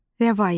Rəvayət.